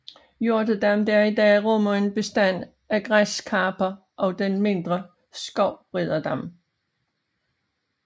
Hjortedam der i dag rummer en bestand af græskarper og den mindre Skovriderdam